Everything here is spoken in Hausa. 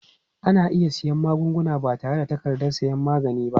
Ana iya siyan magunguna ba tare da takardar sayan magani ba.